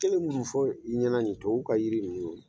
Kelen minnu fɔ i ɲɛna nin ye tubabuw ka jiri ninnu